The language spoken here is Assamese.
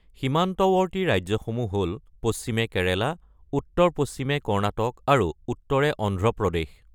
সীমান্তৱৰ্তী ৰাজ্যসমূহ হ’ল পশ্চিমে কেৰেলা, উত্তৰ-পশ্চিমে কৰ্ণাটক, আৰু উত্তৰে অন্ধ্ৰপ্ৰদেশ।